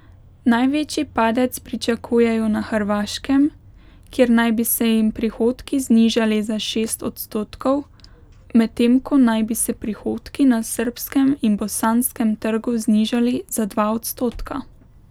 Največji padec pričakujejo na Hrvaškem, kjer naj bi se jim prihodki znižali za šest odstotkov, medtem ko naj bi se prihodki na srbskem in bosanskem trgu znižali za dva odstotka.